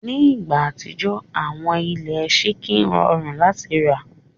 Ni igba atijọ, awọn ile síńkì rọrùn láti rà.